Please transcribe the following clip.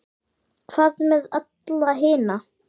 Hvað með alla hina?